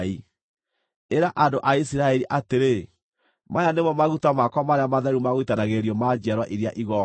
Ĩra andũ a Isiraeli atĩrĩ, ‘Maya nĩmo maguta makwa marĩa matheru ma gũitanagĩrĩrio ma njiarwa iria igooka.